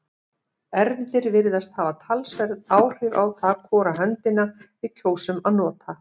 erfðir virðast hafa talsverð áhrif á það hvora höndina við kjósum að nota